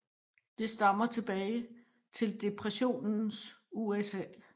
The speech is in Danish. Det stammer tilbage til depressionens USA